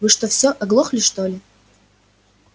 вы что всё оглохли что ли